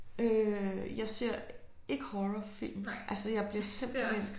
Øh jeg ser ikke horrorfilm altså jeg bliver simpelthen